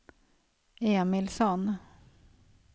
Emilsson